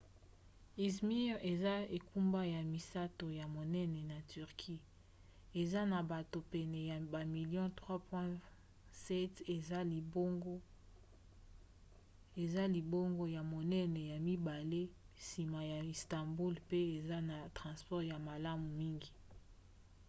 izmir eza engumba ya misato ya monene na turquie eza na bato pene ya bamilio 3,7 eza libongo ya monene ya mibale nsima ya istanbul mpe eza na transport ya malamu mingi